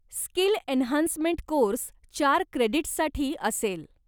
Skill enhancement course चार क्रेडीट्ससाठी असेल.